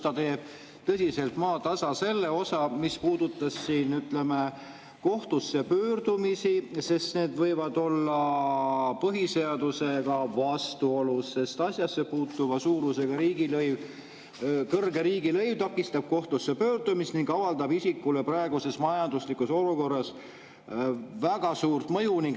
Ta teeb tõsiselt maatasa selle osa, mis puudutab kohtusse pöördumisi, sest need võivad olla põhiseadusega vastuolus, kuna kõrge riigilõiv takistab kohtusse pöördumist ning avaldab isikule raskes majanduslikus olukorras väga suurt mõju.